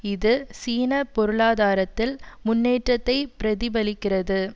இது சீன பொருளாதாரத்தில் முன்னேற்றத்தை பிரதிபலிக்கிறது